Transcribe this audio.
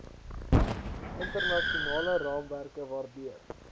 internasionale raamwerke waardeur